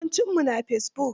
Yawancinmu mu na fesibuk.